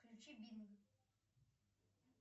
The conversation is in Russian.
включи бинг